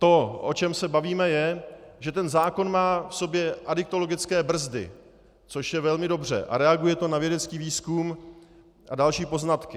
To, o čem se bavíme, je, že ten zákon má v sobě adiktologické brzdy, což je velmi dobře a reaguje to na vědecký výzkum a další poznatky.